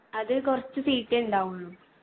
അത് കൊറച്ച് seat ഏ ഇണ്ടാവുള്ളു.